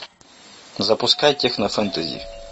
запускай техно фэнтези